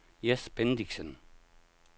Jes Bendixen